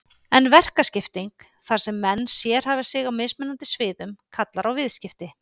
En verkaskipting, þar sem menn sérhæfa sig á mismunandi sviðum, kallar á viðskipti.